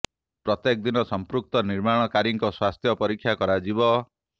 ପ୍ରତ୍ୟେକ ଦିନ ସଂପୃକ୍ତ ନିର୍ମାଣ କାରୀଙ୍କ ସ୍ୱାସ୍ଥ୍ୟ ପରୀକ୍ଷା କରାଯିବ